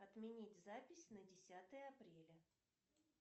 отменить запись на десятое апреля